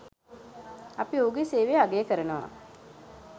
අපි ඔහුගේ සේවය අගය කරනවා.